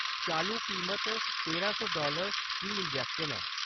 चालू कीमत तेरां सौ डालर फी इंजैक्शन ऐ।